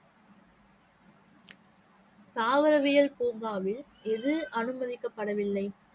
தாவரவியல் பூங்காவில் எது அனுமதிக்கப்படவில்லை?